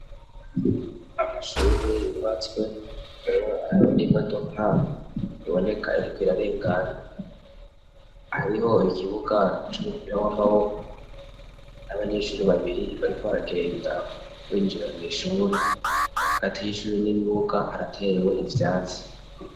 Amashuhure yubatswe hariho n'imodoka iboneka iriko irarengana hariho ikibuga c'umupira w'amaboko n'abanyeshure babiri bariko baragenda winjira mw'ishure hagati y'ishuri n'ibibuga haratewe ivyatsi.